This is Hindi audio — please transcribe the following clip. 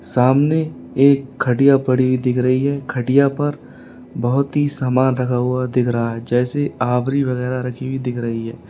सामने एक खटिया पड़ी दिख रही है खटिया पर बहुत ही सामान लगा हुआ दिख रहा है जैसे आभरी वगैरा रखी हुई दिख रही है।